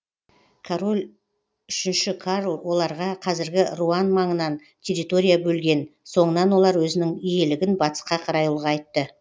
король үшінші карл оларға қазіргі руан маңынан территория бөлген соңынан олар өзінің иелігін батысқа қарай ұлғайтты